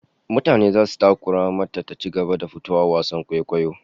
Mutane zasu takura mata ta ci gaba da fitowa a wasan kwaikwayon